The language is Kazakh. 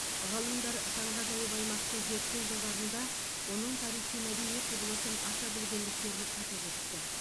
ғалымдар таңғажайып аймақты зерттеу жылдарында оның тарихи мәдени құбылысын аша білгендіктерін атап өтті